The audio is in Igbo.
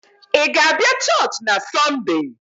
Ị ga-abịa Church na Sunday?